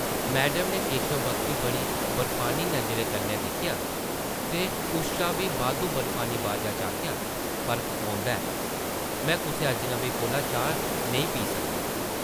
Madam नै केशव बक्खी बड़ी बर्फानी नज़रें कन्नै दिक्खेआ ते उस शा बी बद्ध बर्फानी बाजा च आखेआ, ‘‘फर्क पौंदा ऐ। में कुसै अजनबी कोला चाह् नेईं पी सकदी ।’’